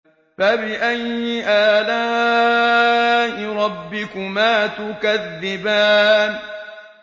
فَبِأَيِّ آلَاءِ رَبِّكُمَا تُكَذِّبَانِ